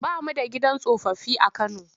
Ba mu da gidan tsofaffi a Kano.